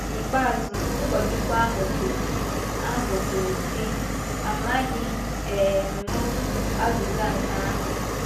N’ikpeazụ, ụkọchukwu ahụ kwụrụ ahụ kwụrụ sị, “Amaghị um m azịza nke ahụ.”